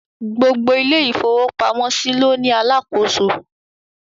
Gbogbo ilé ìfọwọ́pamọ́ ló ní Alákóso